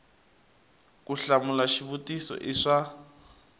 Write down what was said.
ku hlamula xivutiso i swa